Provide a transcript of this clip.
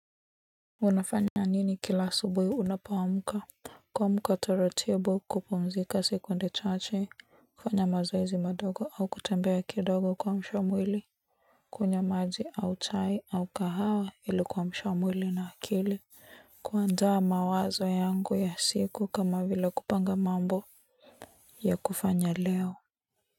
Unafanya nini kila asubuhi unapoamka? Kuamuka taratibu kupumzika sekunde chache, kufanya mazoezi madogo au kutembea kidogo kuamsha mwili. Kunywa maji au chai au kahawa ili kuamusha mwili na akili. Kuandaa mawazo yangu ya siku kama vile kupanga mambo ya kufanya leo.